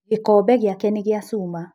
Gĩkombe gĩake nĩ gĩa cuma.